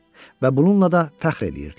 Və bununla da fəxr eləyirdilər.